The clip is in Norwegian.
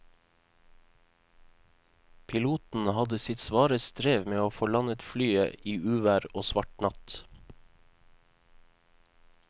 Piloten hadde sitt svare strev med å få landet flyet i uvær og svart natt.